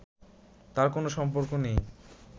তার কোনো সম্পর্ক নেই